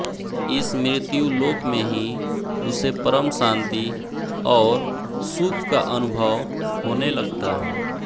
इस मृत्युलोक में ही उसे परम शांति और सुख का अनुभव होने लगता है